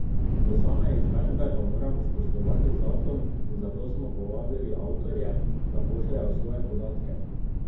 Do same izvedbe pa moramo spoštovati zakon in zato smo povabili avtorje, da pošljejo svoje podatke.